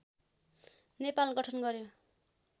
नेपाल गठन गर्‍यो